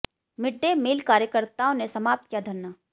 mid day meal कार्यकर्ताओं ने समाप्त किया धरना